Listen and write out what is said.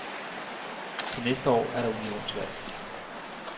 Til næste år er der unionsvalg.